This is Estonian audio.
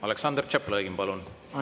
Aleksandr Tšaplõgin, palun!